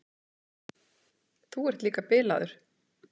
Þú ert líka bilaður.